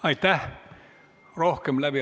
Aitäh!